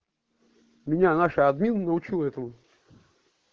меня наша админ научила этому